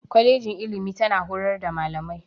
Kwalejin ilimi tana horar da Malamai.